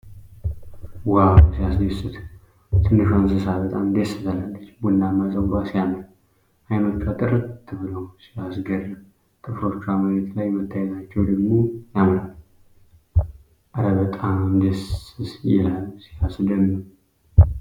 ዋው! ሲያስደስት! ትንሿ እንስሳ በጣም ደስ ትላለች! ቡናማ ፀጉሯ ሲያምር! አይኖቿ ጥርት ብለው ሲያስገርም! ጥፍሮቿ መሬት ላይ መታየታቸው ደግሞ ያምራል። እረ በጣም ደስ ይላል! ሲያስደምም!